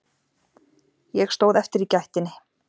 Ég stóð eftir í gættinni.